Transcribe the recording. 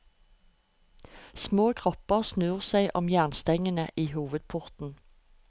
Små kropper snor seg om jernstengene i hovedporten.